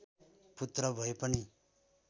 पुत्र भए पनि